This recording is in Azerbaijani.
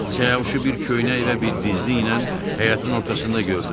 Siyavuşu bir köynək və bir dizliklə həyətin ortasında gördüm.